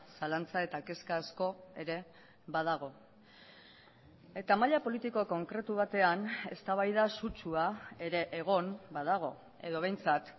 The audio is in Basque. zalantza eta kezka asko ere badago eta maila politiko konkretu batean eztabaida sutsua ere egon badago edo behintzat